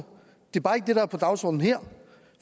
er bare ikke det der er på dagsordenen her